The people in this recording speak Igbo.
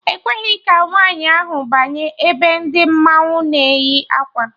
Ekweghị ka nwaanyị ahụ banye ebe ndị mmanwụ na eyi akwa